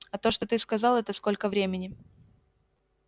а то что ты сказал это сколько времени